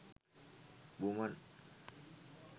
women